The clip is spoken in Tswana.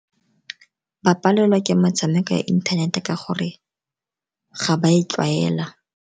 Ba palelwa ke metshameko ya inthanete ka gore ga ba e tlwaela.